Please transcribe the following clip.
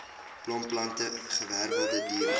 blomplante gewerwelde diere